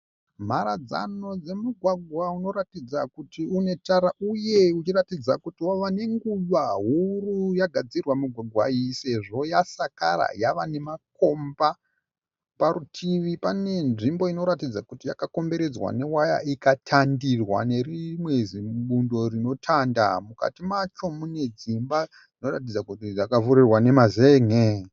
Mharadzano dzemugwagwa unoratidza kuti une tara uye uchiratidza kuti wava nenguva huru yagadzirwa migwagwa iyi sezvo yasakara yava nemakomba. Parutivi pane nzvimbo inoratidza kuti yakakomberedzwa newaya ikatandirwa nerimwe zibundo rinotanda. Mukati macho mune dzimba dzinoratidza kuti dzakavhurirwa nemazen'e.